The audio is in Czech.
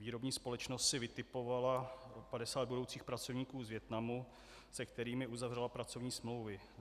Výrobní společnost si vytipovala 50 budoucích pracovníků z Vietnamu, se kterými uzavřela pracovní smlouvy.